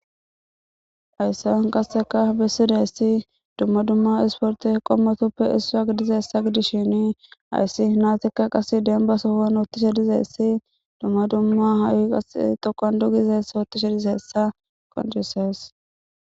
Haysan qasseka bessidayessi dumma dumma isporte qommotoppe issu a gidizeessa gidishshinii ayssi naatikka qas denba sohan hoottishe dizeessi dumma dumma haay qa tokon dugizeess ootti she dizeessa qoncisees